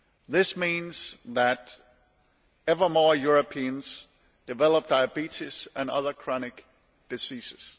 This means that ever more Europeans develop diabetes and other chronic diseases.